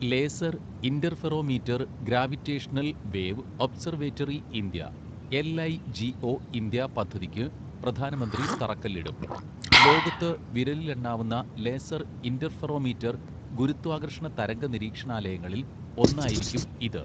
Laser interferometer gravitational wave observatory India LIGO India പദ്ധതിക്ക് പ്രധാനമന്ത്രി തറക്കല്ലിടും. ലോകത്ത് വിരലിലെണ്ണാവുന്ന ലേസർ ഇന്റർഫെറോമീറ്റർ ഗുരുത്വാകർഷണ തരംഗ നിരീക്ഷണാലയങ്ങളിൽ ഒന്നായിരിക്കും ഇത്